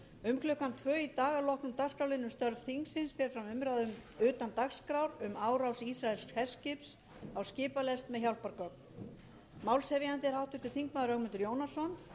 um klukkan tvö í dag að loknum dagskrárliðnum störf þingsins fer fram umræða utan dagskrár um árás ísraelsks herskips á skipalest með hjálpargögn málshefjandi er háttvirtur þingmaður ögmundur jónasson utanríkisráðherra